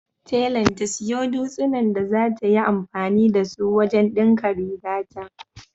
Telan ta siyo dutsinan da zata yi anfani da su wajen ɗinka rigata.